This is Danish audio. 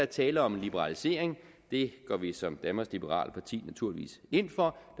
tale om en liberalisering det går vi som danmarks liberale parti naturligvis ind for